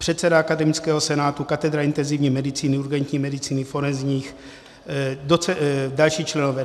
Předseda akademického senátu, katedra intenzivní medicíny, urgentní medicíny, forenzní, další členové.